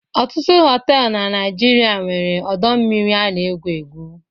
Ọtụtụ họtelụ na Naịjirịa nwere ọdọmmiri a na-egwu egwu.